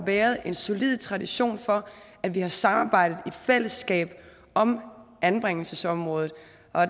været en solid tradition for at vi har samarbejdet i fællesskab om anbringelsesområdet